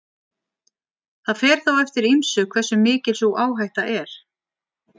Það fer þó eftir ýmsu hversu mikil sú áhætta er.